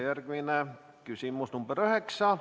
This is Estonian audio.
Järgmine küsimus, nr 9.